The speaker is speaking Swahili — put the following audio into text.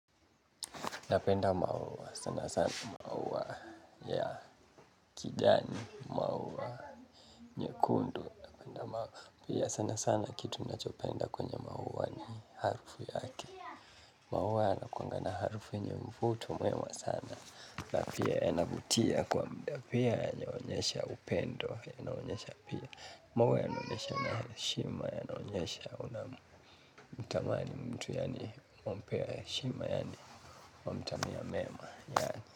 Napenda maua sana sana, maua ya kijani, maua nyekundu, napenda maua, pia sana sana kitu nachopenda kwenye maua ni harufu yake. Maua yanakuanga na harufu yenye mvuto mwema sana, na pia yanavutia kwa mda pia yanaonyesha upendo, inaonyesha pia. Maua yanaonesha na heshima, yanaonyesha unamtamani mtu yaani wampea heshima yaani wamtamia mema, yaani.